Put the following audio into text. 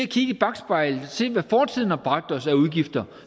kigge i bakspejlet og se hvad fortiden har bragt os af udgifter